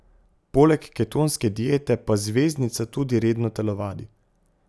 Poleg ketonske diete pa zvezdnica tudi redno telovadi.